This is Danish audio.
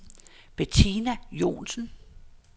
Bettina Joensen